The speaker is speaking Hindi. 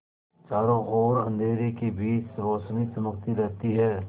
चारों ओर अंधेरे के बीच रौशनी चमकती रहती है